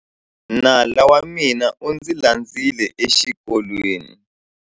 Nala wa mina u ndzi landzile exikolweni.